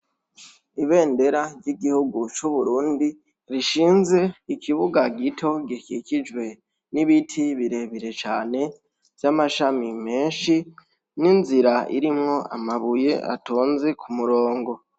Ibendera ry'igihugu cub'Uburundi, rishinze ku kibuga gito gikikijwe n'ibiti birebire cane vy'amashami menshi, n'inzira irimwo amabuye atonze ku murongo.